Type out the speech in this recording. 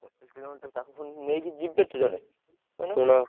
ପଚିଶି କିଲୋମିଟର ତାଙ୍କୁ ପୁଣି ନେଇକି ଯିବେ କିଏ?